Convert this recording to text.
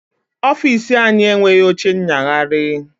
Ọfiisi anyị enweghi oche nyagharị